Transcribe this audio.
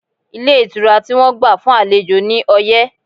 Ilé ìtura tí wọ́n gbà fún àlejò ní ọyẹ́